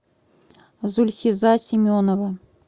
зульхиза семенова